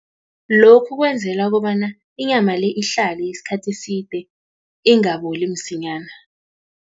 Lokhu kwenzela kobana, inyama le, ihlale isikhathi eside, ingaboli msinyana.